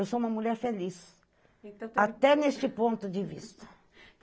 Eu sou uma mulher feliz, até neste ponto de vista.